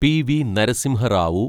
P V Narasimha Rao